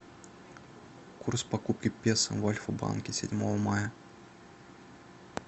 курс покупки песо в альфа банке седьмого мая